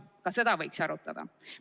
Ka seda võiks arutada.